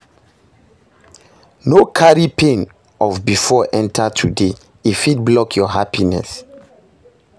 No carry pain of bifor enta today, e fit block your happiness